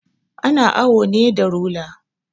Ana awo ne da rula